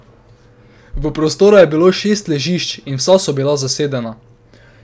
V prostoru je bilo šest ležišč in vsa so bila zasedena.